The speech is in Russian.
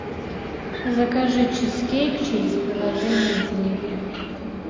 закажи чизкейк через приложение деливери